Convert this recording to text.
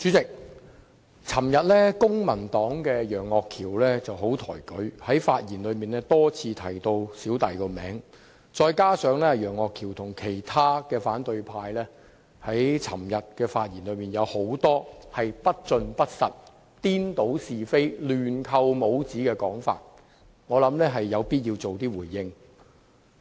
代理主席，昨天，公民黨的楊岳橋議員很抬舉我，在發言時多次提及我的名字，再加上他和其他反對派議員的發言內容有很多不盡不實、顛倒是非、亂扣帽子的地方，所以我有必要作出回應。